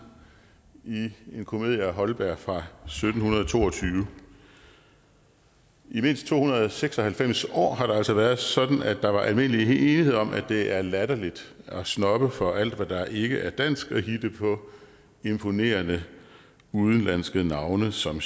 i en komedie af holberg fra sytten to og tyve i mindst to hundrede og seks og halvfems år har det altså været sådan at der var almindelig enighed om at det er latterligt at snobbe for alt hvad der ikke er dansk og hitte på imponerende udenlandske navne som